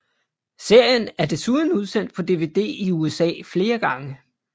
Serien er desuden udsendt på dvd i USA flere gange